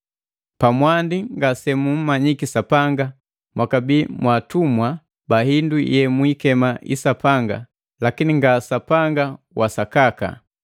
Pamwandi ngase mu mmanyiki Sapanga mwakabi mwaatumwa ba hindu yemwikema isapanga lakini nga Sapanga wa sakaka.